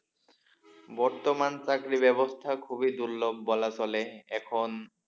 বর্তমান চাকরি ব্যবস্থা খুবই দুর্লভ বলা চলে এখন।